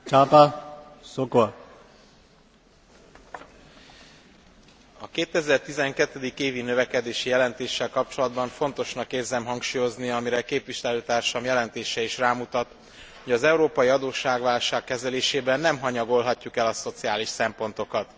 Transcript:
A 2012. évi növekedési jelentéssel kapcsolatban fontosnak érzem hangsúlyozni, amire képviselőtársam jelentése is rámutat, hogy az európai adósságválság kezelésében nem hanyagolhatjuk el a szociális szempontokat.